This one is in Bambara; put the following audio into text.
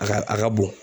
A ka a ka bon